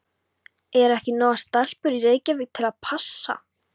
Eru ekki nógar stelpur í Reykjavík til að passa?